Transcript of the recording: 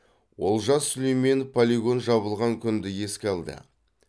олжас сүлейменов полигон жабылған күнді еске алды